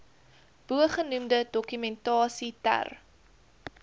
bogenoemde dokumentasie ter